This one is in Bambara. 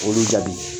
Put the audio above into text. Olu jaabi